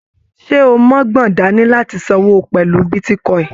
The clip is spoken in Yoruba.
Ṣe o mọgbọ́n dání láti sanwó pẹlú bitíkọ̀in?